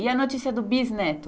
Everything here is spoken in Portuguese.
E a notícia do bisneto?